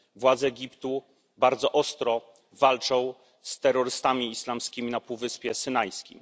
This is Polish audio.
Władze Egiptu bardzo ostro walczą z terrorystami islamskimi na półwyspie Synajskim.